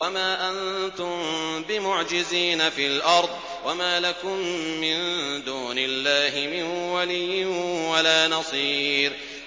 وَمَا أَنتُم بِمُعْجِزِينَ فِي الْأَرْضِ ۖ وَمَا لَكُم مِّن دُونِ اللَّهِ مِن وَلِيٍّ وَلَا نَصِيرٍ